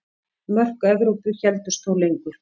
Mörk Evrópu héldust þó lengur.